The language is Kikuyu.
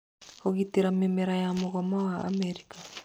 Kũgitĩra Mĩmera ya Mũgoma wa Amerika